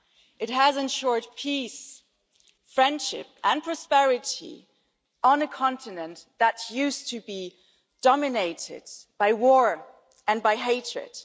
It has ensured peace, friendship and prosperity on a continent that used to be dominated by war and by hatred.